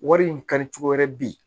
Wari in ka di cogo wɛrɛ bi